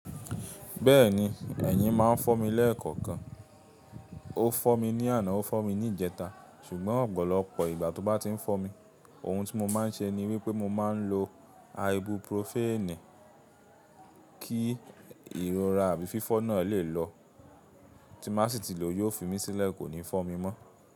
Bẹ́ẹ̀ni, ẹ̀yin máa ń fọ́ mi lẹ́ẹ̀kọ̀kan. Ó fọ́ mi ní àná, ó fọ́ mi ní ìjẹta. Ṣùgbọ́n ọ̀pọ̀lọpọ̀ ìgbà tó bá ti ń fọ́ mi, ohun tí mo máa ń ṣe ni wípé mo máa ń lo ibuprofen kí ìrora àbí fífọ́ náà lè lọ. Tí má sì ti lò yóò fi mí sílẹ̀ kó ní fọ́ mi mọ́